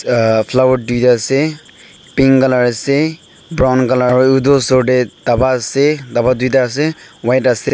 ahh flower tuita ase pink colour ase brown colour aro edu osor tae dapa ase dapa tuita ase white ase.